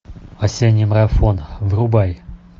осенний марафон врубай